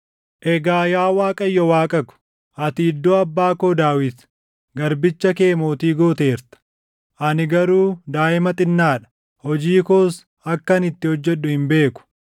“Egaa yaa Waaqayyo Waaqa ko, ati iddoo abbaa koo Daawit, garbicha kee mootii gooteerta. Ani garuu daaʼima xinnaa dha; hojii koos akkan itti hojjedhu hin beeku.